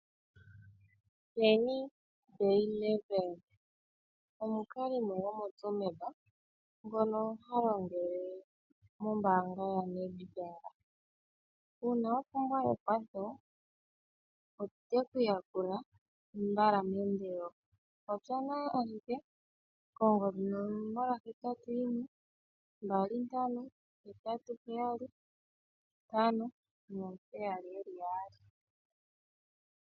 Penjie Byleveld omukalimo gomoTsumeb ngono ha longele mombaanga yaNedbank, uun awa pumbwa ekwatho ote ku yakula mbala meendelelo. Popya naye ashike kongodhi ye 081 2587577.